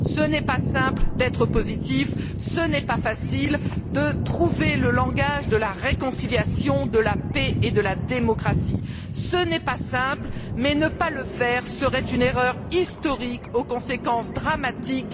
Ce n'est pas simple d'être positif et ce n'est pas facile de trouver le langage de la réconciliation, de la paix et de la démocratie. Ce n'est pas simple mais ne pas le faire serait une erreur historique aux conséquences dramatiques.